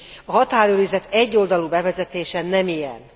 A határőrizet egyoldalú bevezetése nem ilyen.